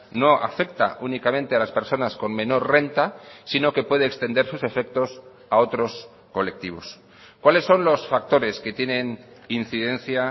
no afecta únicamente a las personas con menor renta sino que puede extender sus efectos a otros colectivos cuáles son los factores que tienen incidencia